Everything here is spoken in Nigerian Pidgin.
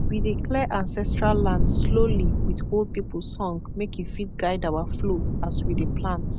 we dey clear ancestral land slowly with old people song make e fit guide our flow as we dey plant